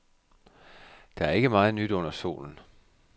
Der er ikke meget nyt under solen.